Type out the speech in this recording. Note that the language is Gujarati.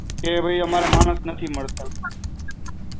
કે ભઈ અમારા માણસ નથી મળતા.